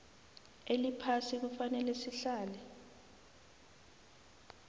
eliphasi kufanele sihlale